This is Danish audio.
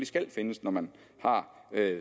skal findes når man har